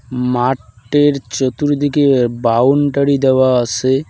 মাটের চতুর্দিকে বাউন্ডারি দেওয়া আসে।